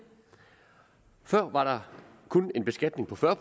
før var der kun en beskatning på fyrre